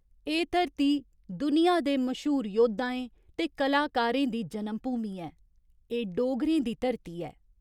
एह् धरती दुनिया दे मश्हूर जोद्धें ते कलाकारें दी जनमभूमि ऐ, एह् डोगरें दी धरती ऐ।